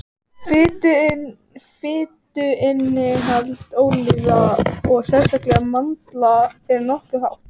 fituinnihald ólíva og sérstaklega mandla er nokkuð hátt